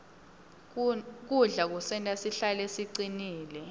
kudla kusenta sihlale sicinile